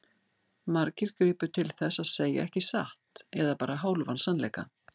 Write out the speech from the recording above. Margir gripu til þess að segja ekki satt eða bara hálfan sannleika.